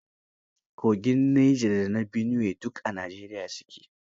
Kogin Neja da na Biniwe duk a Najeriya su ke.